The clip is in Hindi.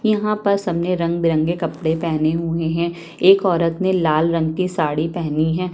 यहाँं पर सामने रंग-बिरंगे कपड़े पहने हुए है एक औरत ने लाल रंग की साड़ी पहनी है।